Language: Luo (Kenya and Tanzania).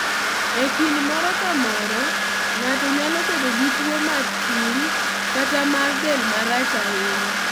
E kind moro ka moro ng'ato nyalo bedo gi tuwo matin kata mar del marach ahinya.